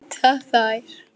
Það vita þær.